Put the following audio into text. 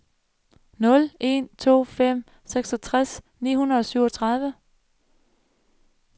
nul en to fem seksogtres ni hundrede og syvogtredive